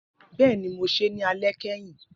Bẹẹni, Mo se ni alẹ kẹhin